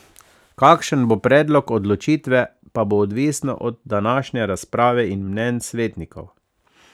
Kakšen bo predlog odločitve, pa bo odvisno od današnje razprave in mnenj svetnikov.